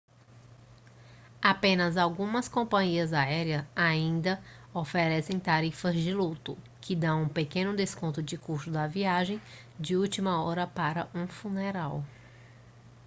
apenas algumas companhias aéreas ainda oferecem tarifas de luto que dão um pequeno desconto no custo da viagem de última hora para um funeral